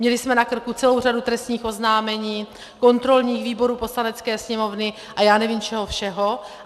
Měli jsme na krku celou řadu trestních oznámení, kontrolních výborů Poslanecké sněmovny a já nevím čeho všeho.